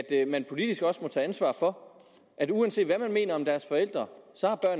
at man politisk også må tage ansvar for uanset hvad man mener om deres forældre